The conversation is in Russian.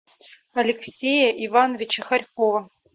алексея ивановича хорькова